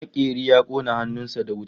Makeri ya kona hannun sa da wuta